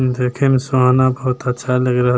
देखे में सुहाना बहुत अच्छा लग रहल --